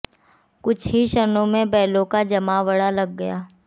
कुछ ही क्षणों में बैलों का जमावड़ा लग गया